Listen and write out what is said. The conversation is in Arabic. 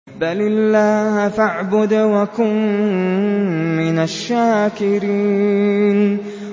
بَلِ اللَّهَ فَاعْبُدْ وَكُن مِّنَ الشَّاكِرِينَ